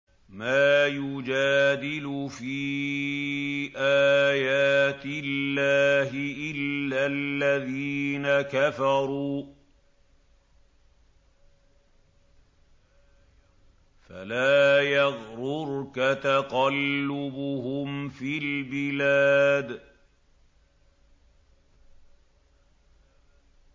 مَا يُجَادِلُ فِي آيَاتِ اللَّهِ إِلَّا الَّذِينَ كَفَرُوا فَلَا يَغْرُرْكَ تَقَلُّبُهُمْ فِي الْبِلَادِ